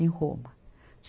em Roma.